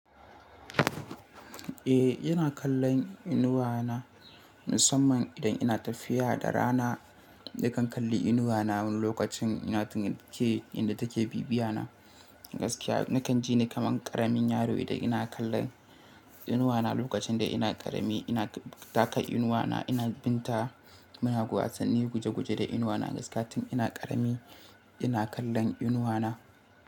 Eh, ina kallon inuwa na musamman idan ina tafiya da rana. Nakan kalli inuwa na lokacin ina tunke inda take bibiya na. Gaskiya nakan ji nake man ƙaramin yaro idan ina kallon inuwa na lokacin da ina ƙarami. Ina taka inuwa na, ina bin ta, muna wasanni guje-guje da inuwa na. Gaskatin ina ƙarami ina kallon inuwa na.